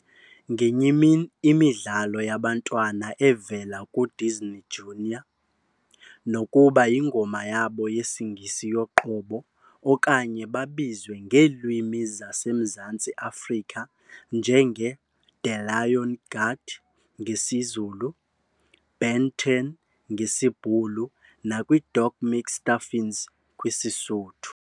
ngenye imini imidlalo yabantwana evela ku Disney Junior, nokuba yingoma yabo yesiNgesi yoqobo okanye babizwe ngeelwimi zase Mzantsi Afrika njenge The Lion Guard ngesiZulu, Ben 10 ngesiBhulu nakwi Doc McStuffins kwi Sesotho.